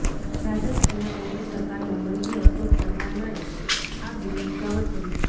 રાજસ્થાનમાં કોંગ્રેસ સરકારમાં મંત્રી અશોક ચંદાનાએ આ બિલનું સ્વાગત કર્યું